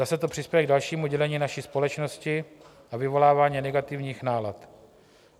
Zase to přispěje k dalšímu dělení naší společnosti a vyvolávání negativních nálad.